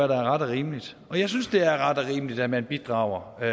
der er ret og rimeligt og jeg synes det er ret og rimeligt at man bidrager